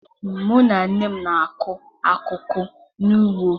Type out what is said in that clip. Mụ na nne m na-akụ akụkụ n'ugbo.